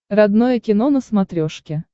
родное кино на смотрешке